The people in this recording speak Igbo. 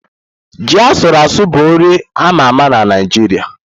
Ji asuru asu bụ nri a ma ama na Naịjirịa.